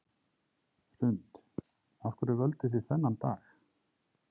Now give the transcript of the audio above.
Hrund: Af hverju völduð þið þennan dag?